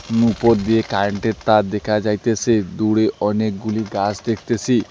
উপর দিয়ে কারেন্ট -এর তার দেখা যাইতেছে দূরে অনেকগুলি গাছ দেখতেসি।